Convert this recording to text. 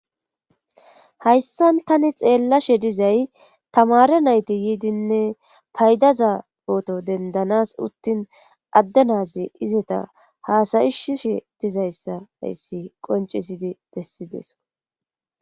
Hayssan tani xeellashe dizay tamare nayti yiidinne paydaza poto dendanas uttin adde naazi izeta haasayisishe dizayssa hayssi qoncisides.